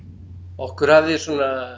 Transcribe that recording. okkur hafði svona